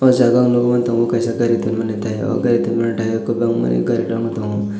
o jaga ang nugwi mantongo kaisa gari tonmani thai o gari tonmani thai o kwbangmani garirok tongo.